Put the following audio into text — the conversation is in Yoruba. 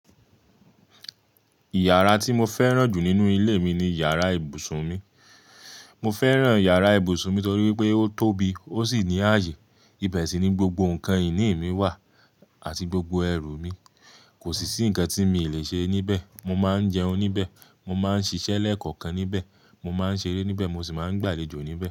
Yàrá tí mo fẹ́ràn jù nínú ilé mi ni yàrá ibùsùn mi. Mo fẹ́ràn yàrá ibùsùn mi torí pé ó tóbi, ó sì ní ààyè. Ibẹ̀ sì ni gbogbo ǹkan ìní mi wà àti gbogbo ẹrù mi. Kò sì sí ǹkan tí mi lè ṣe níbẹ̀. Mo máa ń jẹun níbẹ̀, mo máa ń ṣiṣẹ́ lẹ́kọ̀ọ́kan níbẹ̀, mo máa ń ṣeré níbẹ̀, mo sì máa ń gbàlejò níbẹ̀.